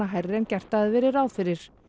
hærri en gert hafði verið ráð fyrir